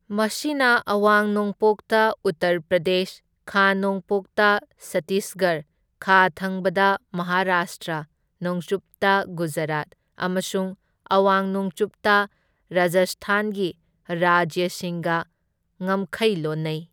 ꯃꯁꯤꯅ ꯑꯋꯥꯡ ꯅꯣꯡꯄꯣꯛꯇ ꯎꯠꯇꯔ ꯄ꯭ꯔꯗꯦꯁ, ꯈꯥ ꯅꯣꯡꯄꯣꯛꯇ ꯁꯠꯇꯤꯁꯒꯔ, ꯈꯥ ꯊꯪꯕꯗ ꯃꯍꯥꯔꯥꯁꯇ꯭ꯔ, ꯅꯣꯡꯆꯨꯞꯇ ꯒꯨꯖꯔꯥꯠ ꯑꯃꯁꯨꯡ ꯑꯋꯥꯡ ꯅꯣꯡꯆꯨꯞꯇ ꯔꯥꯖꯁꯊꯥꯟꯒꯤ ꯔꯥꯖ꯭ꯌꯁꯤꯡꯒ ꯉꯃꯈꯩ ꯂꯣꯟꯅꯩ꯫